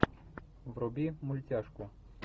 вруби мультяшку